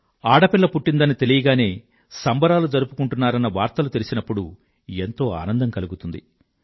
ఆడపిల్ల పుట్టిందని తెలియగానే సంబరాలు జరుపుకుంటున్నారన్న వార్తలు తెలిసినప్పుడు ఎంతో ఆనందం కలుగుతుంది